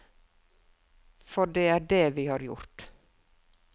For det er det vi har gjort.